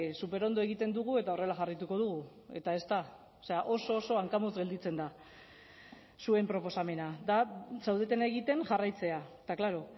superondo egiten dugu eta horrela jarraituko dugu eta ez da oso oso hankamotz gelditzen da zuen proposamena da zaudetena egiten jarraitzea eta klaro